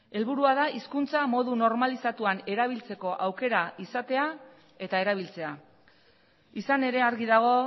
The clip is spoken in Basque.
helburua da hizkuntza modu normalizatuan erabiltzeko aukera izatea eta erabiltzea izan ere argi dago